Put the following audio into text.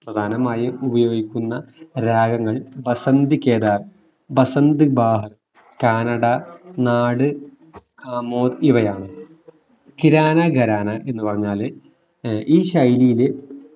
പ്രധാനമായും ഉപയോഗിക്കുന്ന രാഗങ്ങൾ ബസന്ത് കേദാർ, ബസന്ത് ബാഹർ, കാനഡ, നാട് ദാമോദ് ഇവയാണ് കിരാന ഖരാന എന്ന് പറഞ്ഞാല് ഈ ശൈലിയില്